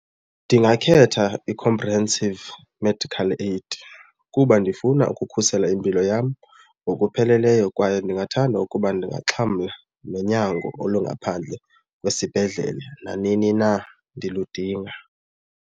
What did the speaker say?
Ndingakhetha i-comprehensive medical aid kuba ndifuna ukukhusela impilo yam ngokupheleleyo kwaye ndingathanda ukuba ndingaxhamla nonyango olungaphandle kwesibhedlele nanini na ndiludinga.